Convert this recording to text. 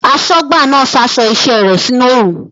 Aṣọ́gbà náà sa aṣọ iṣẹ́ rẹ̀ sínú oòrùn